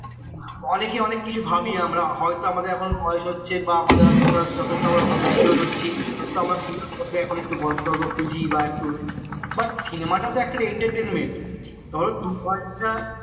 অনেকে অনেক কিছু ভাবি আমরা হয়তো আমাদের এখন বয়স হচ্ছে বা আমাদের যথেষ্ট mature হচ্ছি তো সে কারণে এখন একটু গল্প টল্প খুঁজি বা একটু but cinema টা তো একটা entertainment ধরো দুঘণ্টা